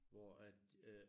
Hvor at øh